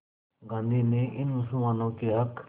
गांधी ने इन मुसलमानों के हक़